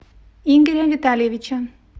игоря витальевича